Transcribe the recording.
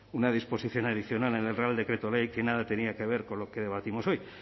una disposición adicional en el real decreto ley que nada tenía que ver con lo que debatimos hoy